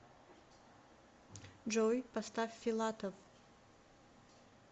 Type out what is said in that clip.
джой поставь филатов